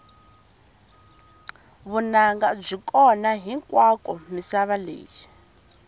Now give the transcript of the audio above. vunanga byi kona hinkwako misava leyi